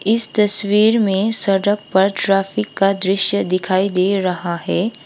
इस तस्वीर में सड़क पर ट्रैफिक का दृश्य दिखाई दे रहा है।